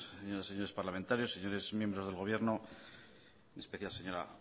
señoras y señores parlamentarios señores miembros del gobierno y especial señora